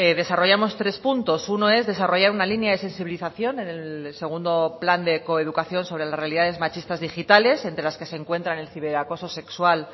desarrollamos tres puntos uno es desarrollar una línea de sensibilización en el segundo plan de coeducación sobre las realidades machistas digitales entre las que se encuentran el ciberacoso sexual